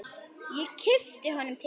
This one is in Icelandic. Ég kippi honum til mín.